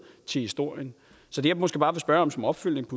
til historien så det jeg måske bare vil spørge om som opfølgning